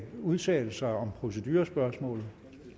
udtale sig om procedurespørgsmålet